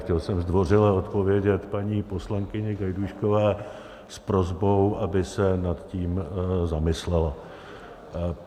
Chtěl jsem zdvořile odpovědět paní poslankyni Gajdůškové s prosbou, aby se nad tím zamyslela.